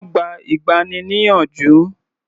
Wọ́n gba ìgbani-níyànjú.